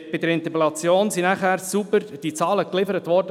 Bei der Interpellation sind die Zahlen vom Kanton sauber geliefert worden.